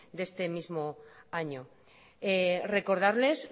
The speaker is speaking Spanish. de este mismo año recordarles